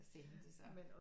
At stille mig de samme